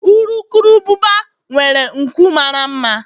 urukurubụba nwere nku mara mma